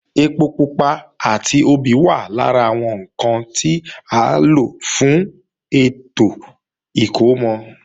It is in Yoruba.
Ẹpo pupa àti obì wà lára àwọn ǹkan tí à ń lò fún ètò ìkómọ